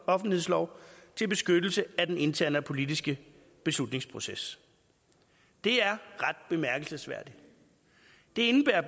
offentlighedslov til beskyttelse af den interne og politiske beslutningsproces det er ret bemærkelsesværdigt det indebærer